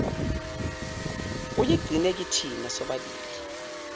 ayigcine kithina sobabili